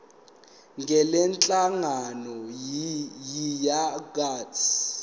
ngalenhlangano yiya kut